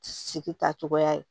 Sigi ta cogoya ye